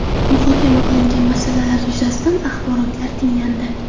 Muhokama qilingan masalalar yuzasidan axborotlar tinglandi.